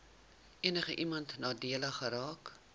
enigiemand nadelig geraak